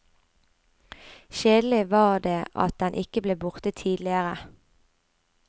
Kjedelig var det at den ikke ble borte tidligere.